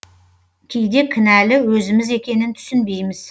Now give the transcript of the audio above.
кейде кінәлі өзіміз екенін түсінбейміз